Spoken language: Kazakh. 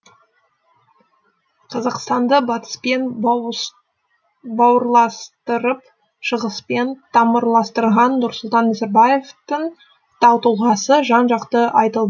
қазақстанды батыспен бауырластырып шығыспен тамырластырған нұрсұлтан назарбаевтың тау тұлғасы жан жақты айтыл